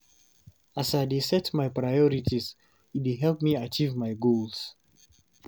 As I dey set my priorities, e dey help me achieve my goals.